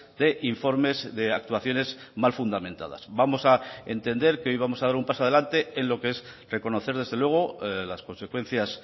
de informes de actuaciones mal fundamentadas vamos a entender que hoy vamos a dar un paso adelante en lo que es reconocer desde luego las consecuencias